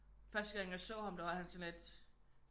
Første gang jeg så ham der var han sådan lidt